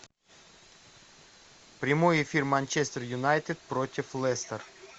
прямой эфир манчестер юнайтед против лестер